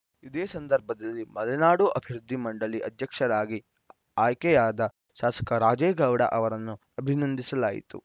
ಇದೇ ಸಂದರ್ಭದಲ್ಲಿ ಮಲೆನಾಡು ಅಭಿವೃದ್ಧಿ ಮಂಡಳಿ ಅಧ್ಯಕ್ಷರಾಗಿ ಆಯ್ಕೆಯಾದ ಶಾಸಕ ರಾಜೇಗೌಡ ಅವರನ್ನು ಅಭಿನಂದಿಸಲಾಯಿತು